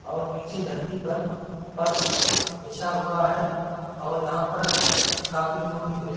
और नीचे धरती पर फर्श बिछा हुआ है और यहाँ पर काफी लोगों की भीड़ है।